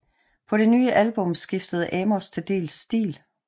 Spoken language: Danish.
På det nye album skiftede Amos til dels stil